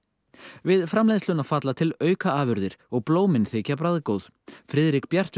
við framleiðsluna falla til aukaafurðir og blómin þykja bragðgóð Friðrik Bjartur